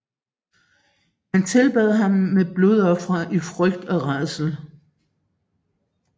Man tilbad ham med blodofre i frygt og rædsel